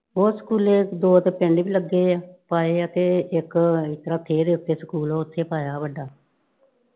ਹੋਰ ਸਕੂਲੇ ਦੋ ਤੇ ਪਿੰਡ ਚ ਈ ਲੱਗੇ ਆ, ਪਾਏ ਆ ਤੇ ਇੱਕ . ਇੱਥੇ ਸਕੂਲ ਆ ਉੱਥੇ ਪਾਇਆ ਵੱਡਾ।